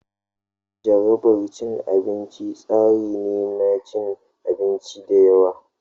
Jarabar abinci tsari ne na cin abinci da yawa.